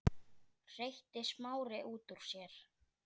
hreytti Smári út úr sér.